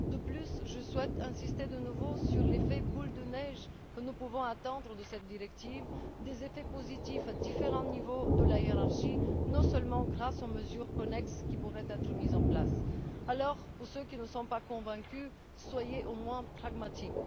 De plus, je souhaite insister de nouveau sur l'effet boule de neige que nous pouvons attendre de cette directive des effets positifs à différents niveaux de la hiérarchie, notamment grâce aux mesures connexes qui pourraient être mises en place. Alors, pour ceux qui ne sont pas convaincus, soyez au moins pragmatiques.